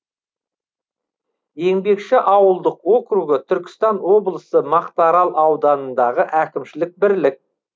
еңбекші ауылдық округі түркістан облысы мақтаарал ауданындағы әкімшілік бірлік